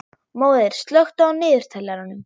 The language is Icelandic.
Móeiður, slökktu á niðurteljaranum.